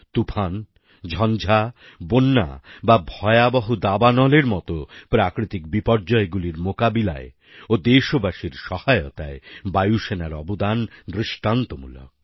তুফান ঝঞ্ঝাবন্যা বা ভয়াবহ দাবানলের মত প্রাকৃতিক বিপর্যয়গুলির মোকাবিলায় ও দেশবাসীর সহায়তায় বায়ুসেনার অবদান দৃষ্টান্তমূলক